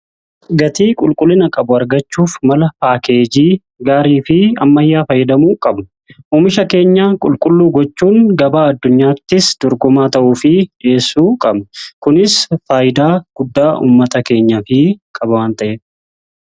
gatii qulqullina qabu argachuuf mala paakeejii gaarii fi ammayyaa fayyadamuu qabna. Oomisha keenya qulqulluu gochuun gabaa addunyaattis dorgomaa ta'uu fi dhi'eessuu qabna. kunis faayidaa guddaa ummata keenyaf qaban waan ta'eef.